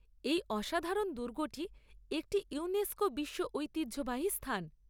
এ‍ই অসাধারণ দুর্গটি একটি ইউনেস্কো বিশ্ব ঐতিহ্যবাহী স্থান।